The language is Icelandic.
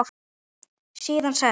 Síðan sest